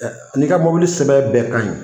N'i ka mobili sɛbɛn bɛɛ ka ɲi